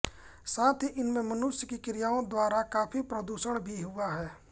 साथ ही इसमें मनुष्य की क्रियाओं द्वारा काफ़ी प्रदूषण भी हुआ है